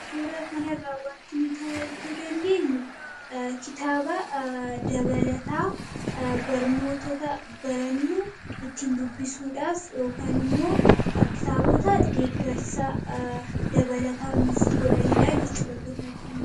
kaatura kanarraa wanti nuta arguu dandeenyu kitaaba dabalataa barnootota barannuu itti hin dubbisuudhaaf immoo kitaabota deeggarsaa dabalataa nuuf godhaniidhaa jechuudha.